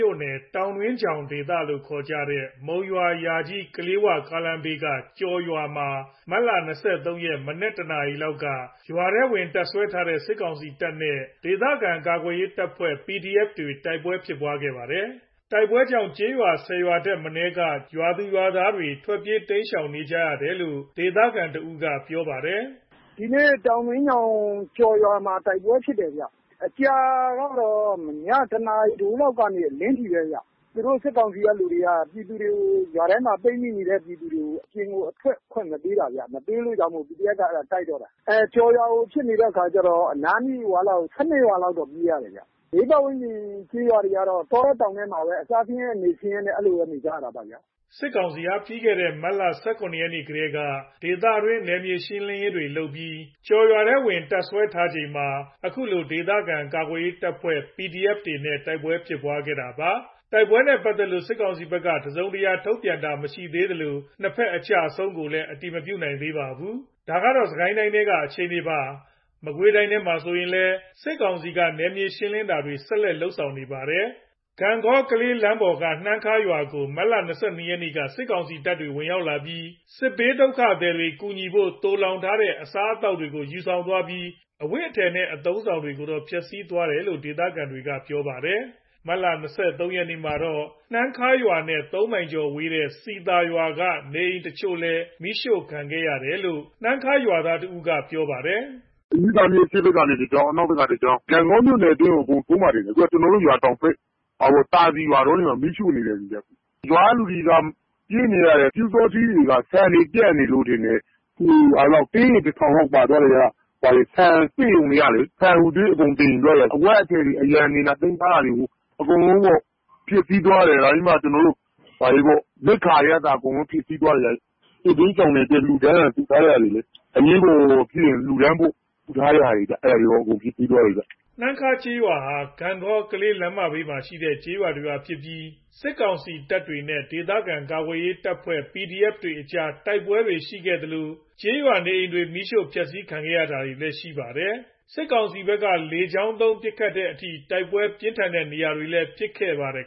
ြို့နယ် တောင်တွင်းချောင် ဒေသလို့ ခေါ်ကြတဲ့ မုံရွာ - ယာကြီး - ကလေး၀ ကားလမ်းဘေးက ကျော်ရွာမှာ မတ်လ ၂၃ ရက် မနက် ၁ နာရီလောက်က ရွာမှာ တပ်စွဲထားတဲ့ စစ်ကောင်စီတပ်နဲ့ ဒေသခံ ကာကွယ်ရေး တပ်ဖွဲ့တွေ တိုက်ပွဲဖြစ်ပွားခဲ့ပါတယ်။ တိုက်ပွဲကြောင့် ကျေးရွာ ၁၀ရွာထက်မနည်း ထွက်ပြေးတိမ်းရှောင်နေရတယ်လို့ ဒေသခံတဦးက ပြောပါတယ်။ “ဒီနေ့ တောင်တွင်းချောင်ကျော်ရွာမှာ တိုက်ပွဲဖြစ်တယ်ဗျ။ ကြာတာကတော့ ည ၁ နာရီထိုးလောက်ကနေ အလင်းထိပဲ။ သူတို့စစ်ကောင်စီက လူတွေက ရွာထဲက ပိတ်မိနေတဲ့သူတွေကို အပြင်ကို ထွက်ခွင့်မပေးတာဗျ။ မပေးလို့ PDF က တိုက်တော့တာ။ ကျော်ရွာဖြစ်နေတော့ အနားနီး ၁၂ ရွာလောက် တော့ပြေးနေရတယ်။ ဘေးပတ်ဝန်းကျင် ကျေးရွာတွေကတော့ တောထဲတောင်ထဲမှာပဲ အစားဆင်းရဲ အနေဆင်းရဲနဲ့ အဲ့လိုပဲ နေနေကြရတာ။” စစ်ကောင်စီဟာ ပြီးခဲ့တဲ့ မတ်လ ၁၇ ရက်ကတည်းက ဒေသတွင်း နယ်မြေရှင်းလင်းတာတွေလုပ်ပြီး ကျော်ရွာမှာ တပ်စွဲထားချိန်မှာ၊ ခုလို ဒေသခံကာကွယ်ရေး တပ်ဖွဲ့တွေနဲ့ တိုက်ပွဲဖြစ်ပွားတာပါ။ တိုက်ပွဲနဲ့ပတ်သက်လို့ စစ်ကောင်စီဘက်က သတင်းတစုံတရာထုတ်ပြန်တာမရှိသေးသလို ၂ ဖက်အကျအဆုံးကိုလည်း အတည်မပြုနိုင်သေးပါဘူး။ ဒါက စစ်ကိုင်းထဲက အခြေအနေပါ။ မကွေးတိုင်းမှာဆိုရင်လည်း စစ်ကောင်စီက နယ်မြေရှင်းလင်းတာတွေ ဆက်ရှိနေပါတယ်။ ဂန့်ဂေါ ကလေးလမ်းပိုင်းက နှမ်းခါးရွာကိုမတ်လ ၂၂ ရက်က စစ်ကောင်စီတပ်တွေ ရောက်လာပြီး စစ်ဘေးဒုက္ခသည်တွေ ကူညီဖို့ သိုလှောင်ထားတဲ့ အစားအသောက်တွေကို ယူဆောင်သွားပြီး အဝတ်အထည် အသုံးအဆောင်တွေကို ဖျက်ဆီးသွားပါတယ်လို့ ဒေသခံတွေကပြောပါတယ်။ မတ်လ ၂၃ ရက်မှာတော့ နှမ်းခါးရွာနဲ့ ၃ မိုင်ကျော်ဝေးတဲ့ စည်သာရွာက နေအိမ်အချို့လည်း မီးရှို့ခံရတယ်လို့ နှမ်းခါးဒေသခံတဦးက ပြောပါတယ်။ “မြစ်သာမြစ် အရှေ့ဘက်ကနေ တကြောင်း အနောက်ဖက်က တကြောင်း ဂန့်ဂေါမြို့နယ်ကို ထိုးမှာထင်တယ်။ အခုကျွန်တော်တို့ရွာတောင်ဘက် သာစည်ရွာဘက်မှာ မီးရှို့နေတယ်။ ရွာကလူတွေက ပြေးနေရတယ်။ ပျူစောထီးတွေက ဆန်တွေပြတ်နေလို့ထင်တယ်။ တင်းရေ ၁ ထောင်လောက် ပါသွားတယ်။ ဆန်စက်ရုံတွေက ဆန်တွေအကုန်သယ်ယူသွားတယ်။ အဝတ်အထည်တွေ သိမ်းထားတာတွေ အကုန်ဖျက်ဆီးသွားတယ်။ နောက်ပြီး ရိက္ခာတွေက အစဖျက်ဆီးသွားတယ်။ စစ်ဘေးရှောင်တွေအတွက်လှူဒါန်းထားတာတွေ အရေးပေါ်ဖြစ်ရင် လှူဒါန်းဖို့ အဲ့ဒါတွေကော အကုန်ဖျက်ဆီးသွားတယ်။” နှမ်းခါးရွာဟာ ဂန့်ဂေါ ကလေးလမ်းမကြီးဘေးမှာ ရှိတဲ့ ကျေးရွာတရွာဖြစ်ပြီး စစ်ကောင်စီတပ်တွေနဲ့ ဒေသခံကာကွယ်ရေးအဖွဲ့တွေအကြား တိုက်ပွဲတွေရှိခဲ့လို့၊ ကျေးရွာနေအိမ်တွေ မီးရှို့ဖျက်ဆီးခံရတာတွေရှိခဲ့ပါတယ်။ စစ်ကောင်စီဖက်က လေကြောင်းသုံး ပစ်ခတ်ရတဲ့အထိ တိုက်ပွဲပြင်းထန်ခဲ့တဲ့နေရာတွေလည်းဖြစ်ပါတယ်